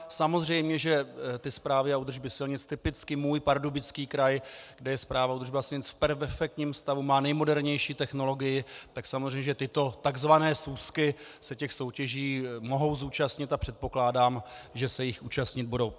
Samozřejmě že ty správy a údržby silnic, typicky můj Pardubický kraj, kde je správa a údržba silnic v perfektním stavu, má nejmodernější technologii, tak samozřejmě že tyto tzv. súsky se těch soutěží mohou zúčastnit, a předpokládám, že se jich účastnit budou.